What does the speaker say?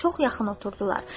Çox yaxın oturdular.